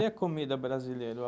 E a comida brasileira?